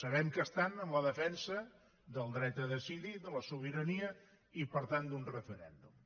sabem que estan en la defensa del dret a decidir de la sobirania i per tant d’un referèndum